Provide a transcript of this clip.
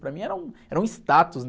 Para mim era um, era um status...